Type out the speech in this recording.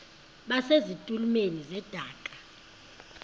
base zitulmeni zedaka